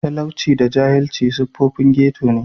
Talauci da jahilci siffofin ghetto ne.